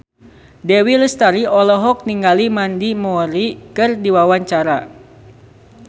Dewi Lestari olohok ningali Mandy Moore keur diwawancara